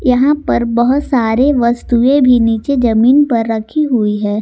यहां पर बहोत सारे वस्तुएं भी नीचे जमीन पर रखी हुई है।